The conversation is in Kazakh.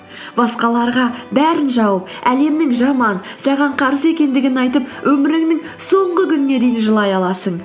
басқаларға бәрін жауып әлемнің жаман саған қарсы екендігін айтып өміріңнің соңғы күніне дейін жылай аласың